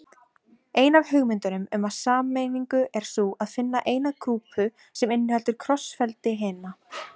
Ein af hugmyndunum um sameiningu er sú að finna eina grúpu sem inniheldur krossfeldi hinna.